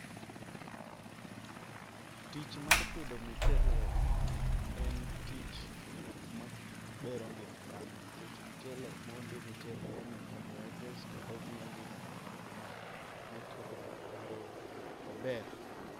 Tich mar pidho michele en tich mabero ngima dhano nikech michele mondi michele en carbohydrates kendo miyo ngima dhano bedo ma motegno kendo ober.